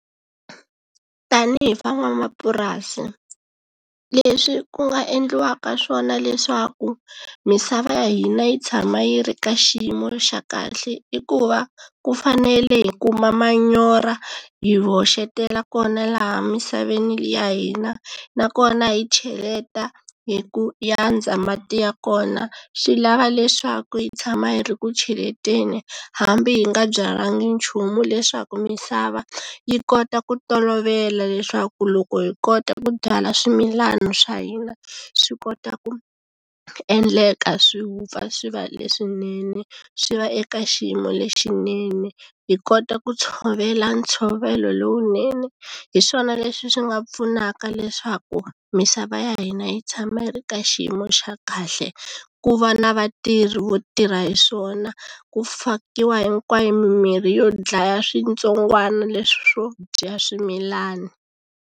Tanihi van'wamapurasi leswi ku nga endliwaka swona leswaku misava ya hina yi tshama yi ri ka xiyimo xa kahle i ku va ku fanele hi kuma manyoro hi hoxetela kona laha misaveni ya hina nakona hi cheleta hi ku yandza mati ya kona swi lava leswaku hi tshama hi ri ku cheleteni hambi hi nga byalanga nchumu leswaku misava yi kota ku tolovela leswaku loko hi kota ku byala swimilana swa hina swi kota ku endleka swi vupfa swi va leswinene swi va eka xiyimo lexinene hi kota ku tshovela ntshovelo lowunene hi swona leswi swi nga pfunaka leswaku misava ya hina yi tshama yi ri ka xiyimo xa kahle ku va na vatirhi vo tirha hi swona ku fakiwa hinkwayo mimirhi yo dlaya switsongwana leswo dya swimilana.